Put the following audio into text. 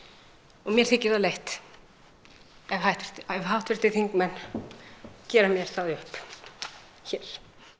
og mér þykir það leitt að háttvirtir þingmenn gera mér það upp hér